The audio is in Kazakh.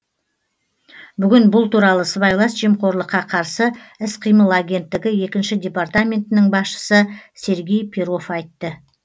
бүгін бұл туралы сыбайлас жемқорлыққа қарсы іс қимыл агенттігі екінші департаментінің басшысы сергей перов айтты